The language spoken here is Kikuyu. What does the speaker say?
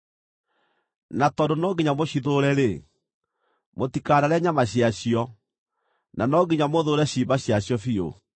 Na tondũ no nginya mũcithũũre-rĩ, mũtikanarĩe nyama ciacio, na no nginya mũthũũre ciimba ciacio biũ.